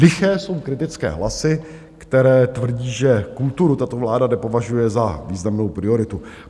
Liché jsou kritické hlasy, které tvrdí, že kulturu tato vláda nepovažuje za významnou prioritu.